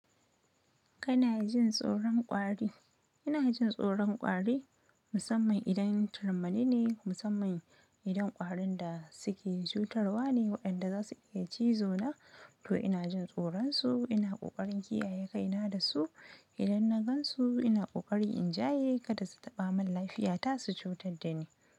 Kana jin tsoron ƙwari? Ina jin tsoron ƙwari musamman idan turmani ne, musamman idan ƙwarin da suke cutarwa ne waɗanda za su iya cizo na, to ina jin tsoron su. Ina ƙoƙarin kiyaye kai na da su. Idan na gansu ina kokarin in jaye kada su taba mun lafiya ta su cutar da ni.